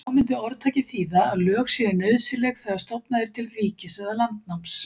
Þá mundi orðtakið þýða að lög séu nauðsynleg þegar stofnað er til ríkis eða landnáms.